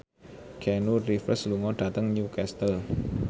Keanu Reeves lunga dhateng Newcastle